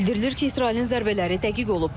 Bildirilir ki, İsrailin zərbələri dəqiq olub.